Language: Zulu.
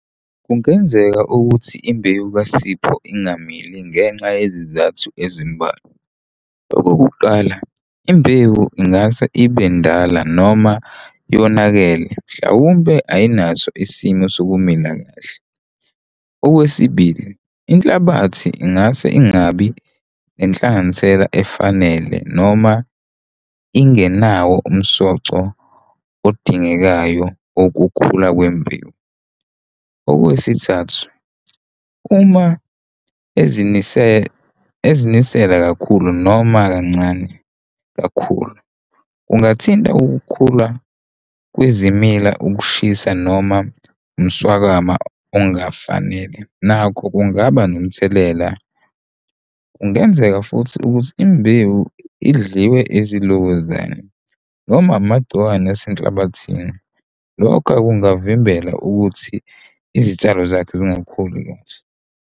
Kungenzeka ukuthi imbewu kaSipho ingamili ngenxa yezizathu ezimbalwa. Okokuqala, imbewu ingase ibe ndala noma yonakele, mhlawumpe ayinaso isimo, sokumila kahle. Okwesibili, inhlabathi ingase ingabi nenhlanganisela efanele noma ingenawo umsoco odingekayo okukhula kwembewu. Okwesithathu, uma ezinisela kakhulu noma kancane kakhulu, kungathinta ukukhula kwezimila, ukushisa noma umswakama ongafanele nakho kungaba nomthelela. Kungenzeka futhi ukuthi imbewu idliwe ezilokozane noma amagciwane asenhlabathini. Lokho kungavimbela ukuthi izitshalo zakhe zingakhuli kahle.